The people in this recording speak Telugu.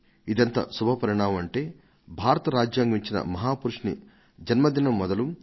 ఇదెంత శుభపరిణామం అంటే భారత రాజ్యాంగం ఇచ్చిన మహాపురుషుని జన్మదినం మొదలు